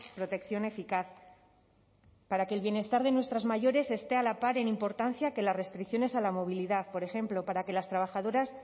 protección eficaz para que el bienestar de nuestras mayores esté a la par en importancia que las restricciones a la movilidad por ejemplo para que las trabajadoras